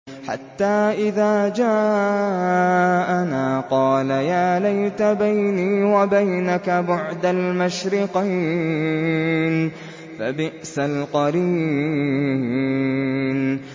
حَتَّىٰ إِذَا جَاءَنَا قَالَ يَا لَيْتَ بَيْنِي وَبَيْنَكَ بُعْدَ الْمَشْرِقَيْنِ فَبِئْسَ الْقَرِينُ